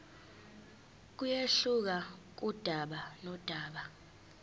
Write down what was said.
kuyehluka kudaba nodaba